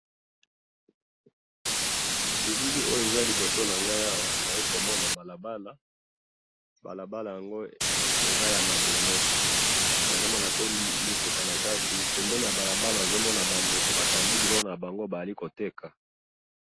Nabilili oyo eza liboso nangayi awa, naalikomona balabala, balabala yango eza yamabele, nazomona pe mituka nakati, pembeni ya balabala nazomona bandeko batandi biloko nabango baali koteka.